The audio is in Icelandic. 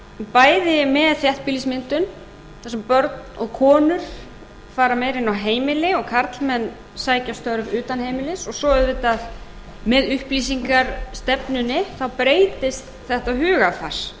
bæði með þéttbýlismyndun þar sem börn og konur fara meira inn á heimili en karlmenn sækja störf utan heimilis og svo auðvitað með uppbyggingarstefnunni þá breytist þetta